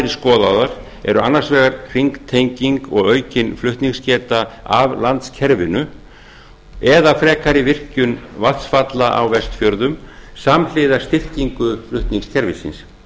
skoðaðar eru annars vegar hringtenging og aukin flutningsgeta af landskerfinu eða frekari virkjun vatnsfalla á vestfjörðum samhliða styrkingu flutningskerfisins